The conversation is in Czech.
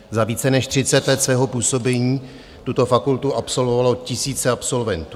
Za více než 30 let svého působení tuto fakultu absolvovalo tisíce absolventů.